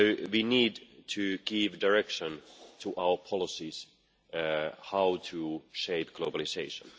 We need to give direction to our policies on how to shape globalisation.